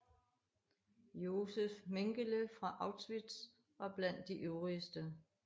Josef Mengele fra Auschwitz var blandt de ivrigste